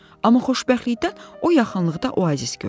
Amma xoşbəxtlikdən o yaxınlıqda oazis gördü.